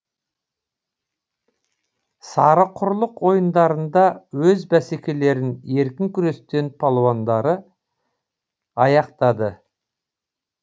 сарықұрлық ойындарында өз бәсекелерін еркін күрес балуандары аяқтады